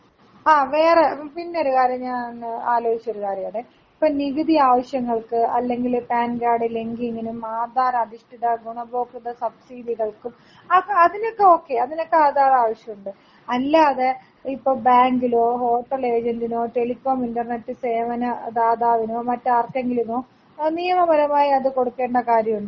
ആ വേറെ പിന്നൊരു കാര്യം ഞാൻ ആലോയ്ച്ചൊരു കാര്യമാണെ ഇപ്പൊ നികുതി ആവശ്യങ്ങൾക്ക് അല്ലെങ്കില് പാൻ കാർഡ് ലിങ്കീയണം ആധാർ അധിഷ്ട്ടിത ഗുണഭോക്ത സബ്സീഡികൾക്കും അ ഒക്കെ അതിനൊക്കെ ഒക്കെ അതിനൊക്കെ ആധാർ ആവശ്യണ്ട് അല്ലാതെ ഇപ്പം ബാങ്കിലോ ഹോട്ടൽ ഏജെന്റിനോ ടെലികോമിനോ ഇന്റർനെറ്റ് സേവന ദാതാവിനോ മറ്റാർക്കെങ്കിലുമോ നിയമപരമായത് കൊടുക്കേണ്ട കാര്യമുണ്ടോ?